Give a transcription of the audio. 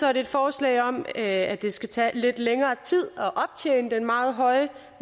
er det et forslag om at det skal tage lidt længere tid at optjene den meget høje